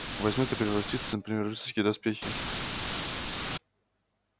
возьмёт и превратится например в рыцарские доспехи